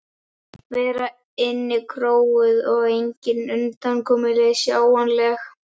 vera innikróuð og engin undankomuleið sjáanleg.